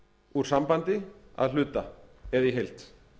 úr sambandi að hluta eða í heild